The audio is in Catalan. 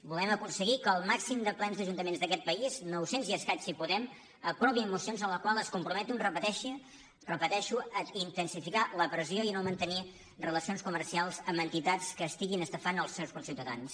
volem aconseguir que el màxim de plens d’ajuntaments d’a·quest país nou·cents i escaig si podem aprovin moci·ons amb les quals es comprometen ho repeteixo a in·tensificar la pressió i no mantenir relacions comercials amb entitats que estiguin estafant els seus conciutadans